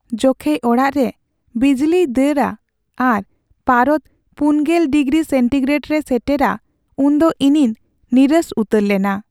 ᱡᱚᱠᱷᱮᱡ ᱚᱲᱟᱜ ᱨᱮ ᱵᱤᱡᱽᱞᱤᱭ ᱫᱟᱲᱟ ᱟᱨ ᱯᱟᱨᱚᱫᱽ ᱔᱐ ᱰᱤᱜᱨᱤ ᱥᱮᱱᱴᱤᱜᱨᱮᱰ ᱨᱮ ᱥᱮᱴᱮᱨᱟ ᱩᱱ ᱫᱚ ᱤᱧᱤᱧ ᱱᱤᱨᱟᱹᱥ ᱩᱛᱟᱹᱨ ᱞᱮᱱᱟ ᱾